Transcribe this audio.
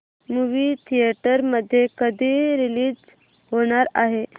movie theatre मध्ये कधी release होणार आहे